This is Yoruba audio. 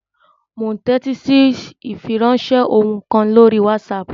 Mò ún tẹ́tí sí ìfiránsẹ́ ohùn kan lórí wásaàpù